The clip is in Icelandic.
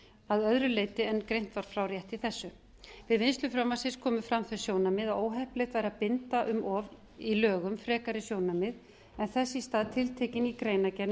að öðru leyti en greint var frá rétt í þessu við vinnslu frumvarpsins komu fram þau sjónarmið að óheppilegt væri að binda um of í lögum frekari sjónarmið en þess í stað tiltekin ný greinargerð með